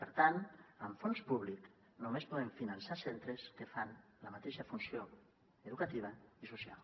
per tant amb fons públics només podem finançar centres que fan la mateixa funció educativa i social